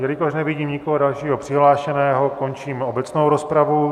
Jelikož nevidím nikoho dalšího přihlášeného, končím obecnou rozpravu.